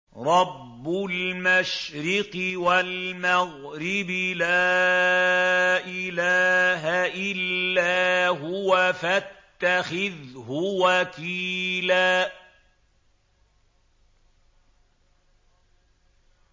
رَّبُّ الْمَشْرِقِ وَالْمَغْرِبِ لَا إِلَٰهَ إِلَّا هُوَ فَاتَّخِذْهُ وَكِيلًا